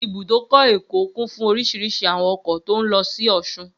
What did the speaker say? Ibùdókọ̀ Èkó kún fún oríṣiríṣi àwọn ọkọ̀ tó n lọ sí ọ̀sun